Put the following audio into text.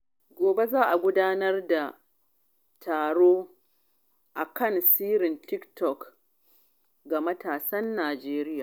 Gobe, za a gudanar da taro kan tasirin TikTok ga matasan Najeriya.